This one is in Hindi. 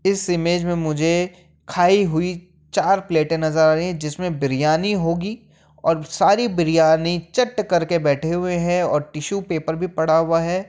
इस इमेज में मुझे खाई हुई चार प्लेटें नजर आ रही हैं जिसमें बिरयानी होगी और सारी बिरयानी चट्ट करके बैठे हुए हैं और टिश्यू पेपर भी पड़ा हुआ है।